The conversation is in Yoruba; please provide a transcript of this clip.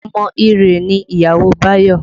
Ọmọ Iree ni ìyàwó Bayo